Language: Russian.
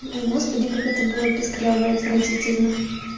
господи как это было пискляво и отвратительно